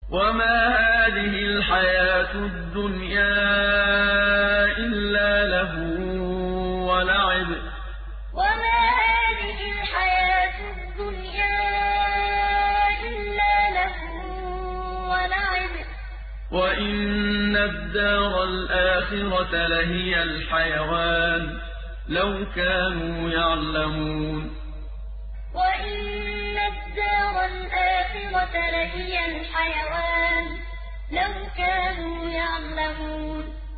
وَمَا هَٰذِهِ الْحَيَاةُ الدُّنْيَا إِلَّا لَهْوٌ وَلَعِبٌ ۚ وَإِنَّ الدَّارَ الْآخِرَةَ لَهِيَ الْحَيَوَانُ ۚ لَوْ كَانُوا يَعْلَمُونَ وَمَا هَٰذِهِ الْحَيَاةُ الدُّنْيَا إِلَّا لَهْوٌ وَلَعِبٌ ۚ وَإِنَّ الدَّارَ الْآخِرَةَ لَهِيَ الْحَيَوَانُ ۚ لَوْ كَانُوا يَعْلَمُونَ